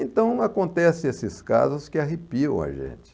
Então, acontecem esses casos que arrepiam a gente.